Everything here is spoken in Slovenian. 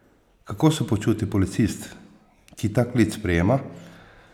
Kako se počuti policist, ki ta klic sprejema?